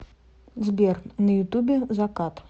сбер на ютубе закат